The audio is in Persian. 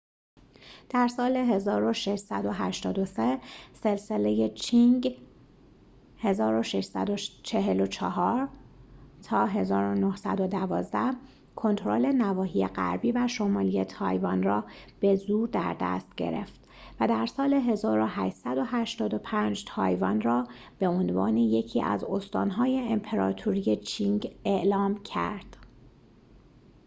در سال 1683، سلسله چینگ 1644-1912 کنترل نواحی غربی و شمالی تایوان را به زور در دست گرفت و در سال 1885 تایوان را به‌عنوان یکی از استان‌های امپراطوری چینگ اعلام کرد